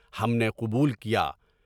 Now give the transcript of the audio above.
ہم نے قبول کیا۔